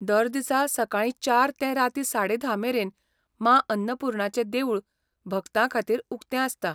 दर दिसा सकाळीं चार ते रातीं साडे धा मेरेन माँ अन्नपूर्णाचें देवूळ भक्तांखातीर उक्तें आसता.